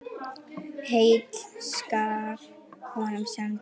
Heill skal honum senda.